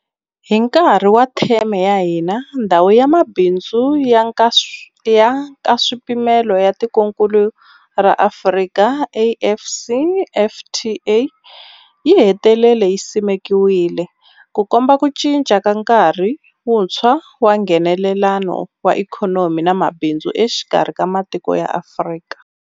Hi nkarhi wa theme ya hina, Ndhawu ya Mabindzu ya Nkaswipimelo ya Tikokulu ra Afrika, AfCFTA yi hetelele yi simekiwile, Ku komba ku cinca ka nkarhi wuntshwa wa Nghenelelano wa ikhonomi na mabindzu exikarhi ka matiko ya Afrika.